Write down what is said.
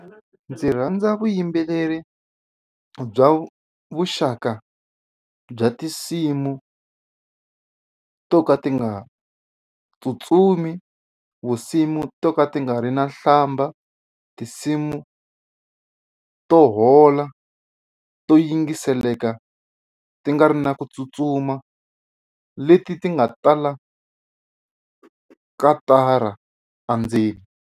Ndzi rhandza vuyimbeleri bya vuxaka bya tinsimu to ka ti nga tsutsumi vusimu to ka ti nga ri na nhlamba tinsimu to hola to yingiseleka ti nga ri na ku tsutsuma leti ti nga tala katara endzeni.